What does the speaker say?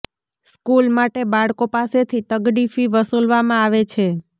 school માટે બાળકો પાસેથી તગડી ફી વસૂલવામાં આવે છે